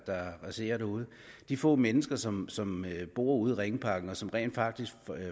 der raserer derude de få mennesker som som bor ude i ringparken og som rent faktisk